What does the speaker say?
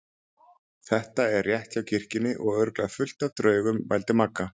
Þetta er rétt hjá kirkjunni og örugglega fullt af draugum. vældi Magga.